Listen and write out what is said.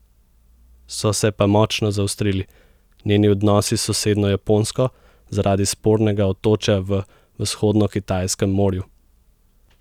So se pa močno zaostrili njeni odnosi s sosednjo Japonsko zaradi spornega otočja v Vzhodnokitajskem morju.